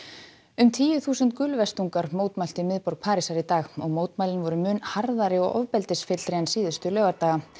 um tíu þúsund mótmæltu í miðborg Parísar í dag og mótmælin voru mun harðari og ofbeldisfyllri en síðustu laugardaga